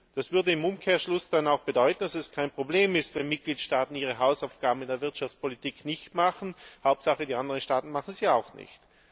Das würde im Umkehrschluss dann auch bedeuten, dass es kein Problem ist, wenn Mitgliedstaaten ihre Hausaufgaben in der Wirtschaftspolitik nicht machen Hauptsache, die anderen Staaten machen sie auch nicht.